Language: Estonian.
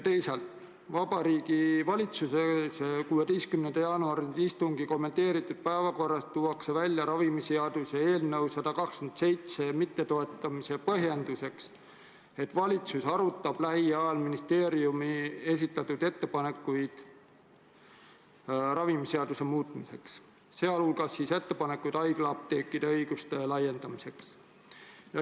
Teisalt, Vabariigi Valitsuse 16. jaanuari istungi kommenteeritud päevakorras tuuakse ravimiseaduse eelnõu 127 mittetoetamise põhjenduseks, et valitsus arutab lähiajal ministeeriumi enda esitatud ettepanekuid ravimiseaduse muutmiseks, sh ettepanekuid haiglaapteekide õiguste laiendamiseks.